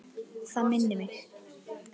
Það minnir mig.